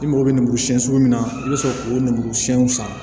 I mago bɛ lemuru siɲɛ sugu min na i bɛ sɔrɔ k'o lemuru siɲɛ sisan